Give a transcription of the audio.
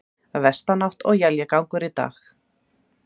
Vestanátt og éljagangur í dag